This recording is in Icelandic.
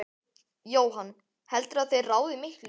Jóhann: Heldurðu að þeir ráði miklu?